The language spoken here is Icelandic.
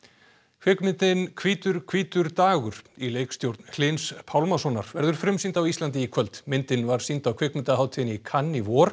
kvikmyndin hvítur hvítur dagur í leikstjórn Hlyns Pálmasonar verður frumsýnd á Íslandi í kvöld myndin var sýnd á kvikmyndahátíðinni í Cannes í vor